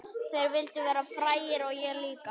Þeir vildu verða frægir og ég líka.